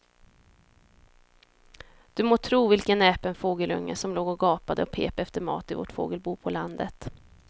Du må tro vilken näpen fågelunge som låg och gapade och pep efter mat i vårt fågelbo på landet.